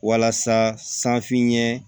Walasa sanfɛ ɲɛ